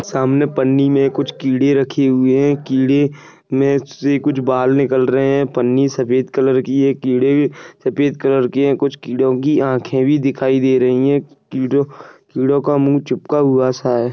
सामने पन्नी मे कुछ कीड़े रखे हुए है कीड़े मे से कुछ बाल नीकल रहे है। पन्नी सफ़ेद कलर की है कीड़े सफ़ेद कलर के है कुछ कीड़ो की आखे भी दिखाई दे रही है कीड़ो कीड़ो का मुह छुपका हुआ सा है।